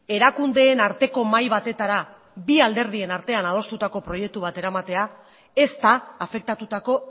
erakundeen arteko mahai batetara bi alderdien artean adostutako proiektu bat eramatea ez da afektatutako